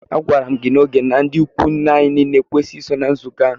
A gwara mụ gị na ógè na ndị ịkwụ nne anyị niile ekwesighi iso na nzukọ a!!!